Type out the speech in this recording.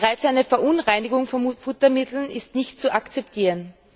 Bereits eine Verunreinigung von Futtermitteln ist nicht zu akzeptieren.